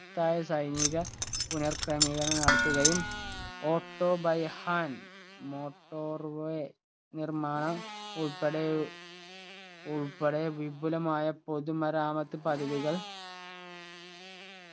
ത്തായ സൈനിക പുനർക്രമീകരണം നടത്തുകയും auto by hand motorway നിർമ്മാണം ഉൾപ്പടെ ഉൾപ്പടെ വിപുലമായ പൊതുമരാമത്ത് പദ്ധതികൾ